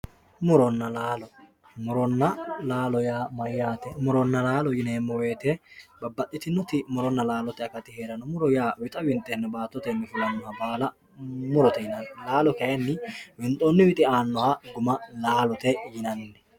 muronna laalo muronna laalo yaa mayyate muronna laalo yineemmo woyte babbaxxitinnoti muronna laalote akati heeranno muro yaa wixa winxeenna baattotenni fulannoha baala murote yinanni laalo kayinni winxoonni wixi aannoha guma laalote yinanni